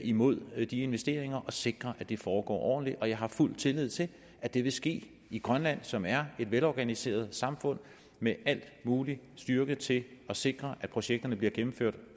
imod de investeringer og sikrer at de foregår ordentligt og jeg har fuld tillid til at det vil ske i grønland som er et velorganiseret samfund med al mulig styrke til at sikre at projekterne bliver gennemført